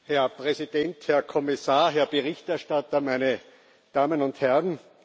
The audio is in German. Herr Präsident, Herr Kommissar, Herr Berichterstatter, meine Damen und Herren!